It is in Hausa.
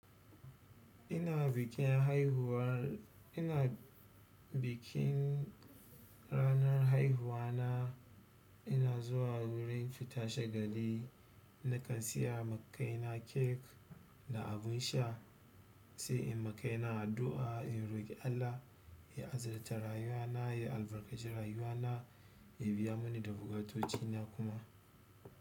Ina bikin haihuwar, ina bikin ranar haihuwa na, ina zuwa wurin fita shagali nakan siya ma ƙaina cake da abun sha, sai in ma ƙaina addu'a in roƙi Allah ya azurta rayuwana ya albarkaci rayuwana yabiya mini duk buƙatocina.